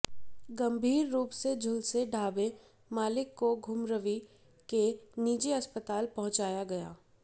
गंभीर रूप से झुलसे ढाबे मालिक को घुमारवीं के निजी अस्पताल पहुंचाया गया